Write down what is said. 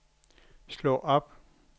slå op